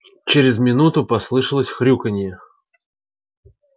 через минуту послышалось хрюканье